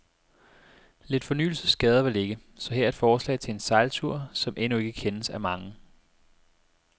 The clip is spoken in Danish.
Lidt fornyelse skader vel ikke, så her er et forslag til en sejltur, som endnu ikke kendes af mange.